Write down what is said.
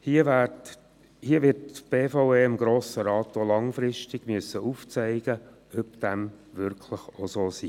Hier wird die BVE dem Grossen Rat auch langfristig aufzeigen müssen, ob dem wirklich auch so sei.